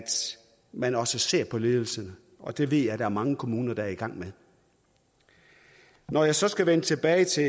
man også ser på ledelsen og det ved jeg der er mange kommuner der er i gang med når jeg så skal vende tilbage til